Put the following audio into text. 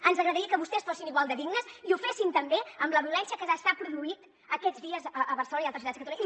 ens agradaria que vostès fossin igual de dignes i ho fessin també amb la violència que s’està produint aquests dies a barcelona i altres ciutats de catalunya